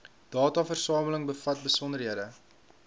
dataversameling bevat besonderhede